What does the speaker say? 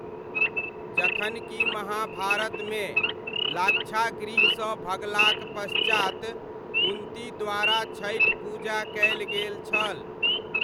जखनकि महाभारतमे, लाक्षागृहसँ भगलाक पश्चात कुन्ती द्वारा छठि पूजा कयल गेल छल।